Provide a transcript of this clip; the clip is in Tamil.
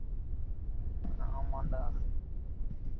ஆமான் டா